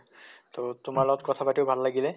তʼ তোমাৰ লগত কথা পাতিও ভাল লাগিলে